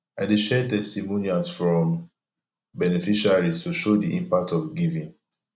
i dey share testimonials from beneficiaries to show the impact of giving